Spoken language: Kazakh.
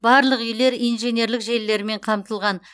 барлық үйлер инженерлік желілермен қамтылған